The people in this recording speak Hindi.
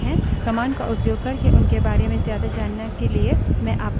man command का उपयोग करके उनके बारे में ज्यादा जानने के लिए मैं आपको प्रोत्साहित करती हूँ